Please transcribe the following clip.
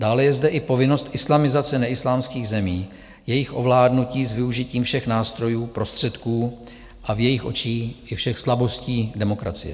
Dále je zde i povinnost islamizace neislámských zemí, jejich ovládnutí s využitím všech nástrojů, prostředků a v jejich očích i všech slabostí demokracie.